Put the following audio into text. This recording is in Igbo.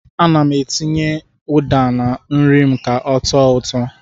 Ana m etinye ụda na nri m ka ọ tọọ ụtọ.